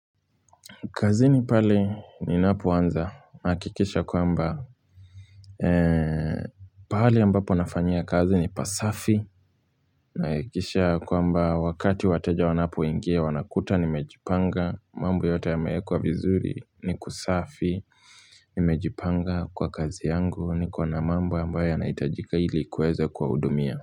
Kazini pale ninapoanza. Nahakikisha kwamba pahali ambapo nafanyia kazi ni pasafi. Nahakikisha kwamba wakati wateja wanapoingia wanakuta nimejipanga. Mambo yote yamewekwa vizuri ni kusafi Nimejipanga kwa kazi yangu niko na mambo ambayo yanahitajika ili kuweza kuwahudumia.